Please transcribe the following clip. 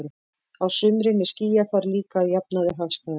Á sumrin er skýjafar líka að jafnaði hagstæðast.